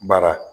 Baara